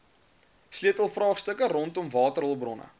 sleutelvraagstukke rondom waterhulpbronne